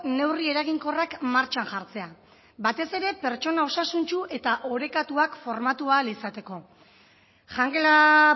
neurri eraginkorrak martxan jartzea batez ere pertsona osasuntsu eta orekatuak formatu ahal izateko jangela